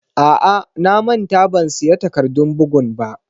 A'a, na manta ban siya takardun bugun ba.